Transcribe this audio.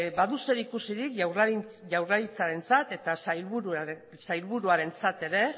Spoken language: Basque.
badu zer ikusirik jaurlaritzarentzat eta sailburuarentzat ere